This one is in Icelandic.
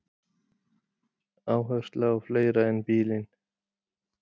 Áhersla á fleira en bílinn